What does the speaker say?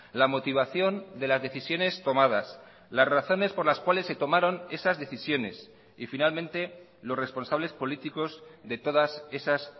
la motivación de las decisiones tomadas las razones por las cuales se tomaron esas decisiones y finalmente los responsables políticos de todas esas